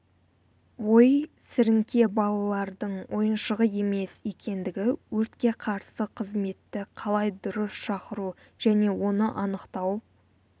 ой сіріңке балалардың ойыншығы емес екендігі өртке қарсы қызметті қалай дұрыс шақыру және оны анықтау